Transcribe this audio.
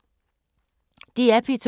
DR P2